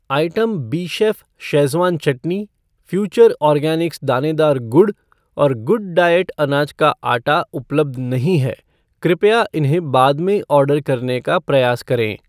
Item बीशेफ़ schezwan chutney, future organics दानेदार गुड़ और गुडडाइट अनाज का आटा उपलब्ध नहीं हैं, कृपया उन्हें बाद में ऑर्डर करने का प्रयास करें।